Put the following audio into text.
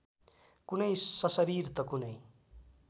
कुनै सशरीर त कुनै